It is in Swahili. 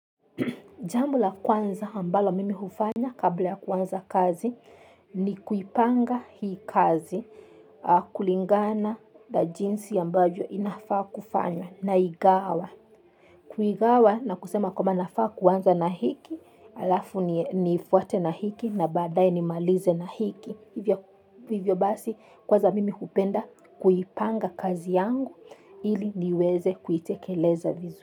Jambo la kwanza ambalo mimi hufanya kabla ya kuanza kazi ni kuipanga hii kazi kulingana na jinsi ambavyo inafaa kufanya naigawa. Kuigawa na kusema kwamba nafaa kuanza na hiki, alafu nifuate na hiki na baadaye nimalize na hiki. Hivyo. Hivyo basi kwanza mimi hupenda kuipanga kazi yangu ili niweze kuitekeleza vizu.